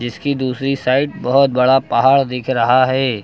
जिसकी दूसरी साइड बहुत बड़ा पहाड़ दिख रहा है।